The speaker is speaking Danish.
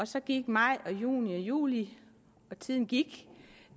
så gik maj juni og juli og tiden gik